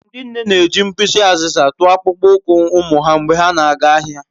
Ndị nne na-eji mkpịsị azịza tụọ akpụkpọ ụkwụ ụmụ ha mgbe ha na-aga ahịa.